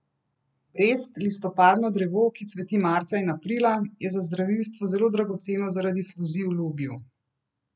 Brest, listopadno drevo, ki cveti marca in aprila, je za zdravilstvo zelo dragoceno zaradi sluzi v lubju.